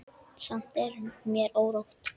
Samt er mér órótt.